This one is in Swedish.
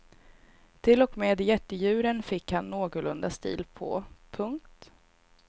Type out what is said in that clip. Till och med jättedjuren fick han någorlunda stil på. punkt